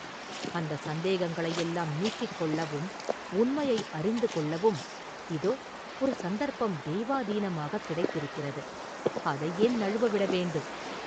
அந்தச் சந்தேகங்களையெல்லாம் நீக்கிக் கொள்ளவும், உண்மையை அறிந்து கொள்ளவும் இதோ ஒரு சந்தர்ப்பம் தெய்வாதீனமாகக் கிடைத்திருக்கிறது; அதை ஏன் நழுவவிட வேண்டும்?